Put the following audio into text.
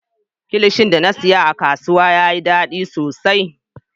Kilishin da na siya a kasuwa yayi daɗi sosai.